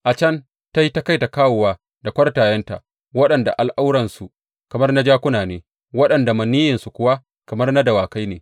A can ta yi ta kai da kawowa da kwartayenta, waɗanda al’auransu kamar na jakuna ne waɗanda maniyyinsu kuwa kamar na dawakai ne.